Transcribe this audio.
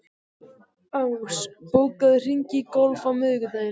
Ás, bókaðu hring í golf á miðvikudaginn.